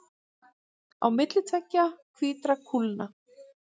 Á milli tveggja hvítra kúlna.